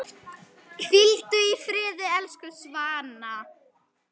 Hvíldu í friði, elsku Svana.